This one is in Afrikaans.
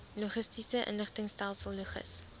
logistiese inligtingstelsel logis